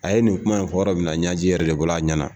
A ye nin kuma in fɔ yɔrɔ minna ɲɛji yɛrɛ de bɔra a ɲɛ na